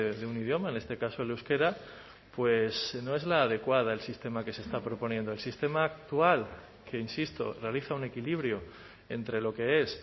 de un idioma en este caso el euskera no es la adecuada del sistema que se está proponiendo el sistema actual que insisto realiza un equilibrio entre lo que es